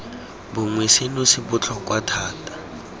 bongwe seno se botlhokwa thata